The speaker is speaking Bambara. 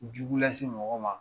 Jugu lase mɔgɔ ma